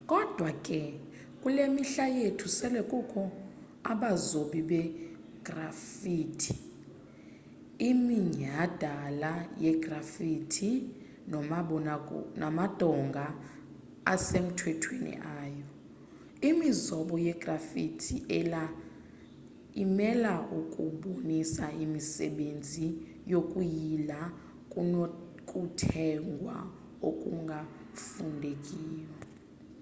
kodwa ke kule mihla yethu sele kukho abazobi begraffiti iminyhadala yegraffiti namadonga asemthethweni ayo imizobo yegraffitis ela imele ukubonisa imisebenzi yokuyila kunokuthegwa okungafundekiyo